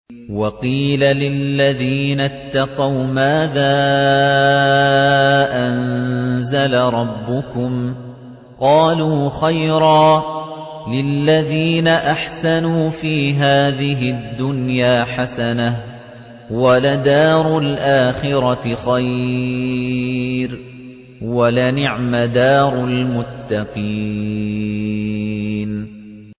۞ وَقِيلَ لِلَّذِينَ اتَّقَوْا مَاذَا أَنزَلَ رَبُّكُمْ ۚ قَالُوا خَيْرًا ۗ لِّلَّذِينَ أَحْسَنُوا فِي هَٰذِهِ الدُّنْيَا حَسَنَةٌ ۚ وَلَدَارُ الْآخِرَةِ خَيْرٌ ۚ وَلَنِعْمَ دَارُ الْمُتَّقِينَ